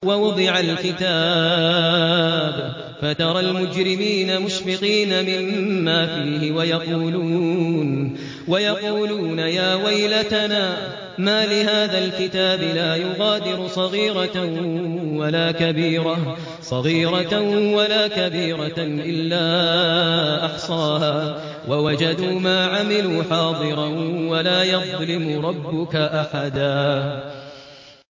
وَوُضِعَ الْكِتَابُ فَتَرَى الْمُجْرِمِينَ مُشْفِقِينَ مِمَّا فِيهِ وَيَقُولُونَ يَا وَيْلَتَنَا مَالِ هَٰذَا الْكِتَابِ لَا يُغَادِرُ صَغِيرَةً وَلَا كَبِيرَةً إِلَّا أَحْصَاهَا ۚ وَوَجَدُوا مَا عَمِلُوا حَاضِرًا ۗ وَلَا يَظْلِمُ رَبُّكَ أَحَدًا